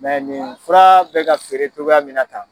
nin fura be ka feere cogoya min na tan